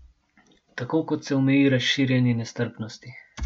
Tako kot se omeji razširjanje nestrpnosti.